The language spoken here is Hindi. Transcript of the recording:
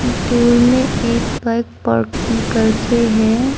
दूर में एक बाइक पार्किंग करके है।